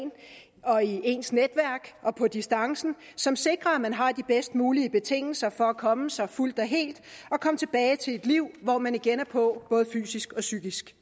og i ens netværk og på distancen som sikrer at man har de bedst mulige betingelser for at komme sig fuldt og helt og komme tilbage til et liv hvor man igen er på både fysisk og psykisk